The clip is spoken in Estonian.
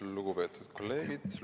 Lugupeetud kolleegid!